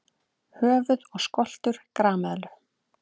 Höfuð og skoltur grameðlu.